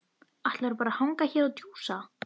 Ætlarðu bara að hanga hér og djúsa?